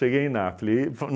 Cheguei em Napoli. E